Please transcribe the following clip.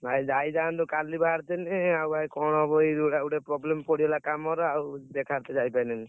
ଭାଇ ଯାଇଥାନ୍ତୁ କାଲି ବାହାରିଥିଲି ଆଉ ଯାଇ କଣ ହବ ଏଇ ଗୋଟେ problem ପଡିଗଲା କାମ ର ଆଉ ଦେଖାର ତେ ଯାଇ ପାରିଲିନି।